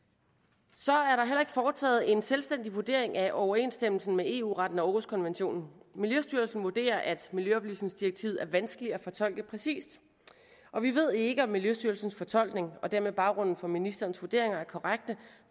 så er foretaget en selvstændig vurdering af overensstemmelsen med eu retten og århuskonventionen miljøstyrelsen vurderer at miljøoplysningsdirektivet er vanskeligt at fortolke præcist og vi ved ikke om miljøstyrelsens fortolkning og dermed baggrunden for ministerens vurderinger er korrekt